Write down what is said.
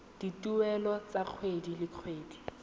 dituelo tsa kgwedi le kgwedi